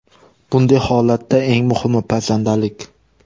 Bunday holatda eng muhimi pazandalik.